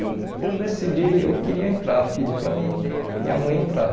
E eu decidi, eu queria entrar, pedi para minha en minha mãe entrar.